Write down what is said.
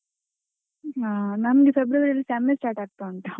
ಹಾ ನಮಗೆ February ಅಲ್ಲಿ sem start ಆಗ್ತಾ ಉಂಟು .